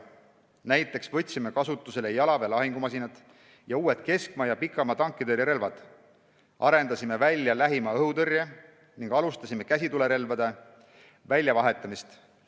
Näiteks võtsime kasutusele jalaväe lahingumasinad ning uued keskmaa- ja pikamaa-tankitõrjerelvad, arendasime välja lähimaa-õhutõrje ning alustasime käsitulirelvade väljavahetamist.